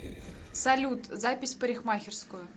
салют запись в парикмахерскую